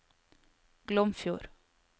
Glomfjord